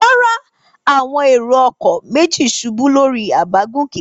Rárá, àwọn èrò-ọkọ̀ méjì ṣubú lórí àbágùnkè.